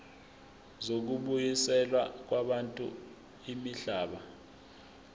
zokubuyiselwa kwabantu imihlaba